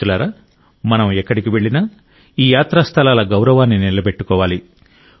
మిత్రులారా మనం ఎక్కడికి వెళ్లినా ఈ యాత్రా స్థలాల గౌరవాన్ని నిలబెట్టుకోవాలి